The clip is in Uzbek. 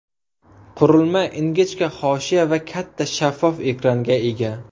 Qurilma ingichka hoshiya va katta shaffof ekranga ega.